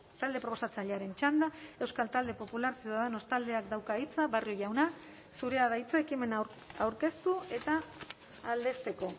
talde proposatzailearen txanda euskal talde popular ciudadanos taldeak dauka hitza barrio jauna zurea da hitza ekimena aurkeztu eta aldezteko